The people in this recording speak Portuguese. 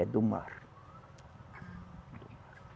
É do mar. Ah